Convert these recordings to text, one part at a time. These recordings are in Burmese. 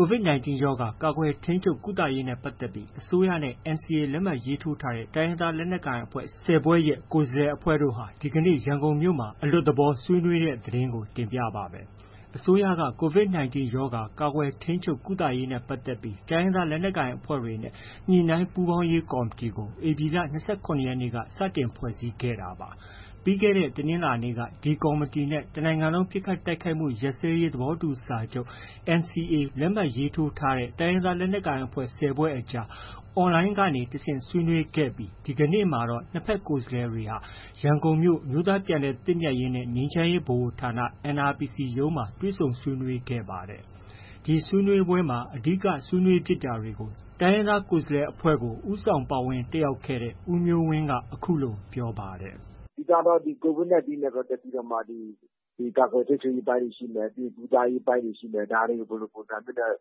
COVID-19 ရောဂါ ကာကွယ်၊ ထိန်းချုပ်၊ ကုသရေးနဲ့ ပတ်သက်ပြီး အစိုးရနဲ့ NCA လက်မှတ်ရေးထိုးထားတဲ့ တိုင်းရင်းသားလက်နက်ကိုင်တွေရဲ့ ကိုယ်စားလှယ်အဖွဲ့တို့ဟာ ဒီကနေ့ ရန်ကုန်မြို့မှာ အလွတ်သဘော ဆွေးနွေးတဲ့ သတင်းကို ဗွီအိုအေ မြန်မာပိုင်းသတင်းထောက် ကိုမိုးဇော်က တင်ပြပေးပါမယ်။ အစိုးရက COVID-19 ရောဂါ ကာကွယ်၊ ထိန်းချုပ်၊ ကုသရေးနဲ့ ပတ်သက်ပြီး တိုင်းရင်းသားလက်နက်ကိုင်အဖွဲ့တွေနဲ့ ညှိနှိုင်းပူးပေါင်းရေးကော်မတီကို ဧပြီ ၂၇ ရက်နေ့က စတင်ဖွဲ့စည်းခဲ့တာပါ။ ပြီးခဲ့တဲ့ တနင်္လာနေ့ကတော့ ဒီကော်မတီနဲ့ တနိုင်ငံလုံး ပစ်ခတ်တိုက်ခိုက်မှု ရပ်စဲရေးသဘောတူစာချုပ် NCA လက်မှတ် ရေးထိုးထားတဲ့ တိုင်းရင်းသားလက်နက်ကိုင်အဖွဲ့၁၀ ဖွဲ့အကြား online ကနေ တစ်ဆင့်ဆွေးနွေးခဲ့ပြီး ဒီကနေ့မှာတော့ နှစ်ဘက်ကိုယ်စားလှယ်တွေဟာ ရန်ကုန်မြို့ အမျိုးသားပြန်လည်သင့်မြတ်ရေးနဲ့ ငြိမ်းချမ်းရေးဗဟိုဌာန NRPC ရုံးမှာ တွေ့ဆုံဆွေးနွေးခဲ့ပါတယ်။ ဒီဆွေးနွေးပွဲမှာ အဓိက ဆွေးနွေးဖြစ်တာတွေကို တိုင်းရင်းသားကိုယ်စားလှယ်အဖွဲ့က ပါဝင်တက်ရောက်ခဲ့တဲ့ ဦးမျိုးဝင်းက အခုလို ပြောပါတယ်။ “အဓိကကတော့ COVID-19 နဲ့ ပတ်သက်ပြီးကာကွယ် ထိန်းချုပ်ရေးအပိုင်းတွေ ရှိမယ်၊ ကုသရေးအပိုင်းတွေ ရှိမယ်။ ဒါတွေကို ဘယ်လိုပုံစံမျိုးနဲ့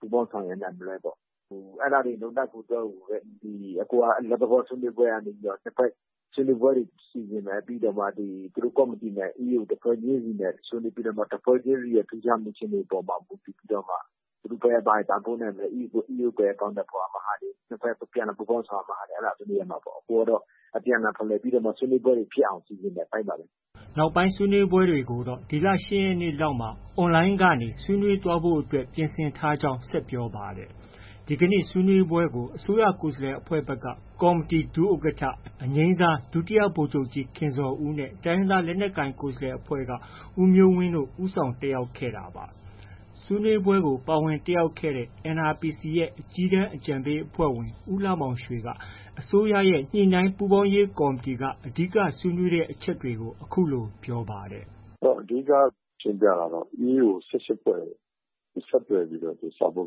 ပူးပေါင်းဆောင်ရွက်နိုင်မလဲပေါ့။ အဲဒါတွေ လုပ်နိုင်ဖို့အတွက် ဒီ အခု အလွတ်သဘော ဆွေးနွေးပွဲကနေ နှစ်ဘက် ဆွေးနွေးပွဲတွေ စီစဉ်မယ်။ ပြီးတော့မှ ဒီသူတို့ ကော်မတီနဲ့ EAO တစ်ဖွဲ့ချင်းစီနဲ့ ဆွေးနွေးပြီးတော့မှ တစ်ဖွဲ့ချင်းစီရဲ့ ထူးခြားမှု အခြေအနေအပေါ် မူတည်ပြီးတော့မှ သူတို့ဘက်က ဘာလုပ်နိုင်မလဲ၊ EAO ဘက်က အကောင်အထည်ဖော်ရာမှာ အပြန်အလှန်ပူးပေါင်းဆောင်ရွက်မယ့်ဟာတွေ ဆွေးနွေးရမှာပေါ့။ အခုကတော့ အပြန်အလှန် ဖလှယ်ပြီးတော့မှ ဆွေးနွေးပွဲတွေ ဖြစ်အောင် စီစဉ်တဲ့အပိုင်းပါပဲ။” နောက်ပိုင်းဆွေးနွေးပွဲတွေကိုတော့ ဒီလ ၈ ရက်နေ့လောက်မှာ Online ကနေ ဆွေးနွေးသွားဖို့အတွက် ပြင်ဆင်ထားကြောင်း ဆက်ပြောပါတယ်။ ဒီကနေ့ ဆွေးနွေးပွဲကို အစိုးရကိုယ်စားလှယ်အဖွဲ့ဘက်က ကော်မတီ ဒုဥက္ကဋ္ဌ ဒုဗိုလ်ချုပ်ကြီး ခင်ဇော်ဦး နဲ့ တိုင်းရင်းသားလက်နက်ကိုင် ကိုယ်စားလှယ်အဖွဲ့ဘက်က ဦးမျိုးဝင်းတို့ ဦးဆောင်တက်ရောက်ခဲ့တာပါ။ ဆွေးနွေးပွဲကို ပါဝင်တက်ရောက်ခဲ့တဲ့ NRPC ရဲ့ အကြီးတန်းအကြံပေးအဖွဲ့ဝင် ဦးလှမောင်ရွှေက အစိုးရရဲ့ ညှိနှိုင်းပူးပေါင်းရေးကော်မတီက အဓိက ဆွေးနွေးတဲ့အချက်တွေကို အခုလို ပြောပါတယ်။ “အဓိက ရှင်းပြတာကတော့ EAO ၁၈ ဖွဲ့ကို ဆက်သွယ်ပြီး စာပို့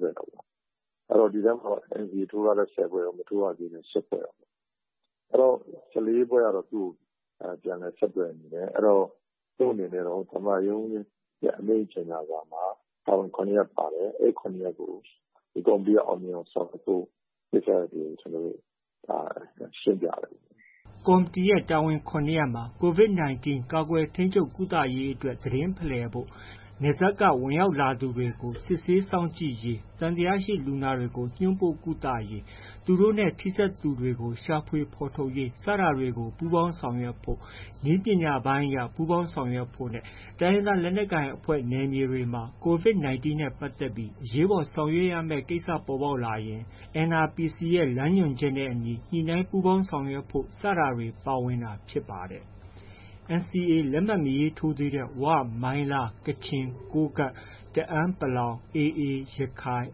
ထားတာပေါ့။ ဒီထဲမှာတော့ NCA ထိုးထားတဲ့ ၁၀ ဖွဲ့ရော၊ မထိုးရသေးတဲ့ ၈ ဖွဲ့ရော၊ ၁၄ ဖွဲ့ကတော့ သူ့ကို ပြန်လည် ဆက်သွယ်နေတယ်။ အဲတော့ သူ့အနေနဲ့တော့ သမ္မတရုံးရဲ့ အမိန့်ကြော်ငြာစာမှာ တာဝန် ၇ ရပ်ပါတယ်။ အဲဒီ ၇ ရပ်ကို ဒီကော်မတီက အောင်မြင်အောင် ဆောင်ရွက်ဖို့ ကိစ္စရပ်တွေကို ရှင်းပြတယ်ပေါ့။” ကော်မတီရဲ့ တာဝန် ၇ ရပ်မှာ COVID-19 ကာကွယ်၊ ထိန်းချုပ်၊ ကုသရေးအတွက် သတင်းဖလှယ်ဖို့၊ နယ်စပ်က ဝင်ရောက်လာသူတွေကို စစ်ဆေးစောင့်ကြည့်ရေး၊ သံသယလူနာတွေကို ညွှန်းပို့ကုသရေး၊၊ သူတို့နဲ့ ထိစပ်သူတွေကို ရှာဖွေဖော်ထုတ်ရေး စတာတွေ ပူးပေါင်းဆောင်ရွက်ဖို့၊ နည်းပညာပိုင်းအရ ပူးပေါင်းဆောင်ရွက်ဖို့နဲ့ တိုင်းရင်းသားလက်နက်ကိုင်အဖွဲ့ နယ်မြေတွေမှာ COVID-19 နဲ့ ပတ်သက်ပြီး အရေးပေါ်ဆောင်ရွက်ရမယ့် ကိစ္စပေါ်ပေါက်လာရင် NRPC လမ်းညွှန်ချက်နဲ့အညီ ညှိနှိုင်းပူးပေါင်းဆောင်ရွက်ဖို့ ဆိုတာတွေ ပါဝင်တာဖြစ်ပါတယ်။ NCA လက်မှတ် မရေးထိုးသေးတဲ့ ဝ၊ မိုင်းလား၊ ကချင်၊ ကိုးကန့်၊ တအန်း ၊ AA ရခိုင်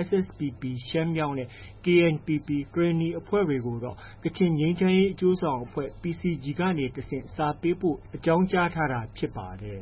၊ SSPP ရှမ်းမြောက်နဲ့ KNPP ကရင်နီအဖွဲ့တွေကိုတော့ ကချင်ငြိမ်းချမ်းရေးအကျိုးဆောင်အဖွဲ့ PCG ကနေ တဆင့် စာပေးပို့အကြောင်း ကြားထားတာဖြစ်ပါတယ်